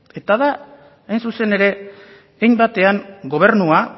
eta da hain zuzen ere hainbatean gobernua